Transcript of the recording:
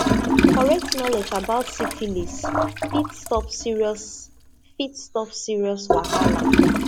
correct knowledge about syphilis fit stop serious fit stop serious wahala